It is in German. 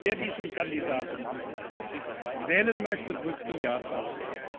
Wer diesen Kandidaten wählen möchte, drückt die Ja Taste.